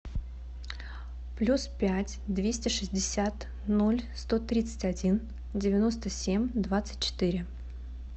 плюс пять двести шестьдесят ноль сто тридцать один девяносто семь двадцать четыре